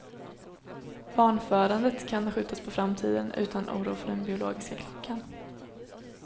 Barnfödandet kan skjutas på framtiden, utan oro för den biologiska klockan.